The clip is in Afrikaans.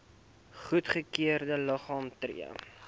goedgekeurde liggame tree